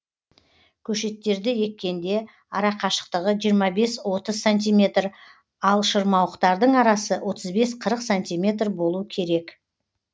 көшеттерді еккенде арақашықтығы жиырма бес отыз сантиметр ал шырмауықтардың арасы отыз бес қырық сантиметр болу керек